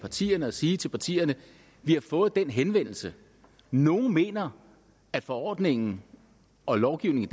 partierne og sige til partierne vi har fået den henvendelse og nogle mener at forordningen og lovgivningen